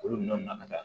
Olu nɔn na ka taa